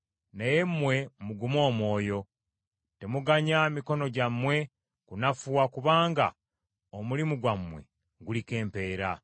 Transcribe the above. Naye mmwe mugume omwoyo! Temuganya mikono gyammwe kunafuwa kubanga omulimu gwammwe guliko empeera.”